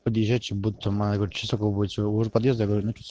ближайший будто моего подъезда